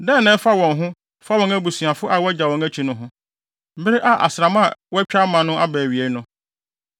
Dɛn na ɛfa wɔn ho fa wɔn abusuafo a woagyaw wɔn akyi no ho bere a asram a wɔatwa ama no aba awiei no?